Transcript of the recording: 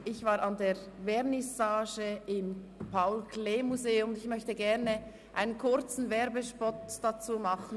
Ich war an der Vernissage im Paul-Klee-Museum und möchte kurz einen Werbespot dafür machen.